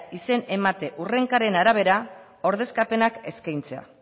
izen emate hurrenkeren arabera ordezkapenak eskaintzea